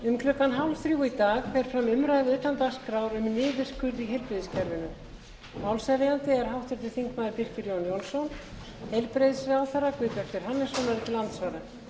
um klukkan fimmtán þrjátíu í dag fer fram umræða utan dagskrár um niðurskurð í heilbrigðiskerfinu málshefjandi er háttvirtur þingmaður birkir jón jónsson heilbrigðisráðherra guðbjartur hannesson verður til andsvara